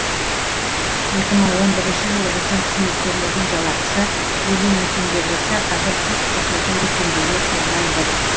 екі мың он бірінші жылы біздің қызметкерлердің жалақысы елу мың теңге болса қазір жүз қырық жеті мың теңгеге ұлғайды